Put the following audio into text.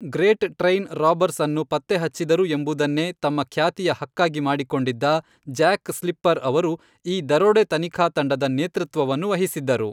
Great Train Robbers ಅನ್ನು ಪತ್ತೆಹಚ್ಚಿದರು ಎಂಬುದನ್ನೇ ತಮ್ಮ ಖ್ಯಾತಿಯ ಹಕ್ಕಾಗಿ ಮಾಡಿಕೊಂಡಿದ್ದ ಜ್ಯಾಕ್ ಸ್ಲಿಪ್ಪರ್ ಅವರು ಈ ದರೋಡೆ ತನಿಖಾ ತಂಡದ ನೇತೃತ್ವವನ್ನು ವಹಿಸಿದ್ದರು.